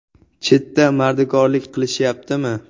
Chetda mardikorlik qilishyaptimi?